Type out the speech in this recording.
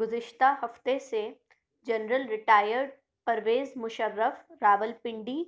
گذشتہ ہفتے سے جنرل ریٹائرڈ پرویز مشرف راولپنڈی